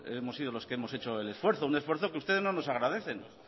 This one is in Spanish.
hemos sido los que hemos hecho el esfuerzo un esfuerzo que ustedes no nos agradecen